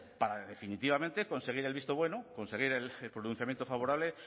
para definitivamente conseguir el visto bueno conseguir el pronunciamiento favorable